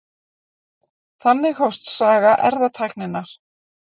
Þannig hófst saga erfðatækninnar.